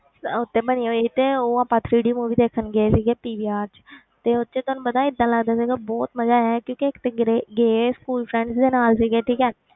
ਉਹ ਤੇ ਬਣੀ ਹੋਈ ਸੀ ਤੇ ਉਹ ਆਪਾਂ three D movie ਦੇਖਣ ਗਏ ਸੀਗੇ PVR 'ਚ ਤੇ ਉਹ 'ਚ ਤੁਹਾਨੂੰ ਪਤਾ ਹੈ ਏਦਾਂ ਲੱਗਦਾ ਸੀਗਾ ਬਹੁਤ ਮਜ਼ਾ ਆਇਆ ਕਿਉਂਕਿ ਇੱਕ ਤੇ ਗਿਰੇ ਗਏ school friends ਦੇ ਨਾਲ ਸੀਗੇ ਠੀਕ ਹੈ,